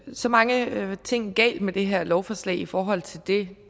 så mange ting galt med det her lovforslag i forhold til det